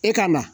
E ka na